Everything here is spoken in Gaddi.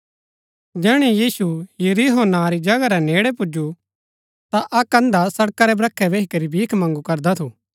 जैहणै यीशु यरीहो नां री जगह रै नेड़ै पुजु ता अक्क अंधा सड़का रै ब्रखै बैही करी भीख मगुँ करदा थू